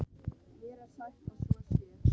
Mér er sagt að svo sé.